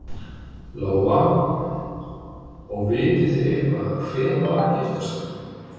Lóa: Og vitið þið eitthvað hver var að gifta sig?